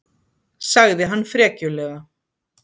sagði hann frekjulega.